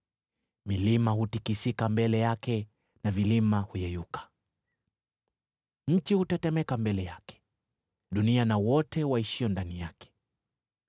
Milima hutikisika mbele yake na vilima huyeyuka. Nchi hutetemeka mbele yake, dunia na wote waishio ndani yake.